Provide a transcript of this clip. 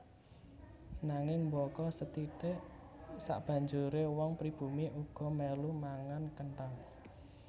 Nanging mbaka sethithik sabanjuré wong pribumi uga mèlu mangan kenthang